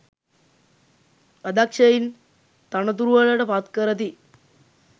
අදක්ෂයින් තනතුරුවලට පත් කරති.